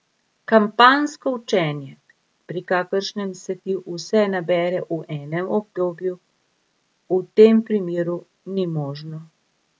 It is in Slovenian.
Kampanjsko učenje, pri kakršnem se ti vse nabere v enem obdobju, v tem primeru ni možno.